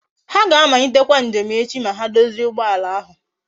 Ha ga amalitekwa njem echi ma ha dozie ugboala ahu